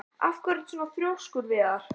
Af hverju ertu svona þrjóskur, Viðjar?